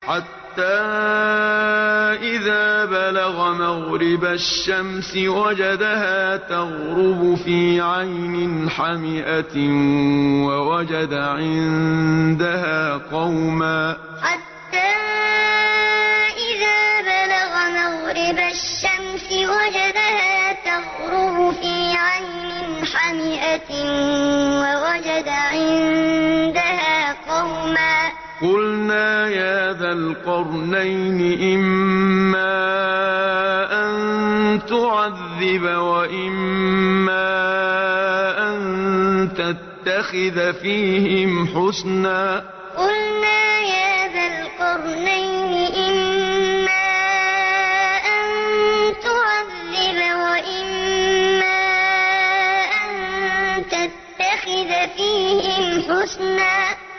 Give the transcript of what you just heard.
حَتَّىٰ إِذَا بَلَغَ مَغْرِبَ الشَّمْسِ وَجَدَهَا تَغْرُبُ فِي عَيْنٍ حَمِئَةٍ وَوَجَدَ عِندَهَا قَوْمًا ۗ قُلْنَا يَا ذَا الْقَرْنَيْنِ إِمَّا أَن تُعَذِّبَ وَإِمَّا أَن تَتَّخِذَ فِيهِمْ حُسْنًا حَتَّىٰ إِذَا بَلَغَ مَغْرِبَ الشَّمْسِ وَجَدَهَا تَغْرُبُ فِي عَيْنٍ حَمِئَةٍ وَوَجَدَ عِندَهَا قَوْمًا ۗ قُلْنَا يَا ذَا الْقَرْنَيْنِ إِمَّا أَن تُعَذِّبَ وَإِمَّا أَن تَتَّخِذَ فِيهِمْ حُسْنًا